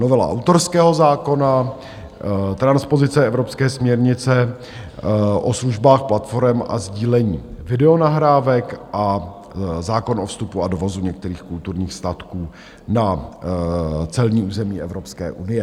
Novela autorského zákona, transpozice evropské směrnice o službách platforem a sdílení videonahrávek a zákon o vstupu a dovozu některých kulturních statků na celní území Evropské unie.